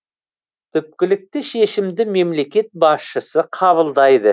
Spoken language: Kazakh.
түпкілікті шешімді мемлекет басшысы қабылдайды